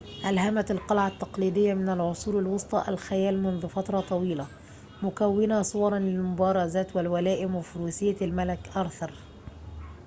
ألهمت القلعة التقليدية من العصور الوسطى الخيال منذ فترة طويلة مكونةً صوراً للمبارزات والولائم وفروسية الملك آرثر